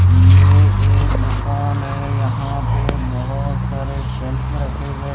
ये एक दुकान है यहां पे बहुत सारे शेल्फ रखे गए--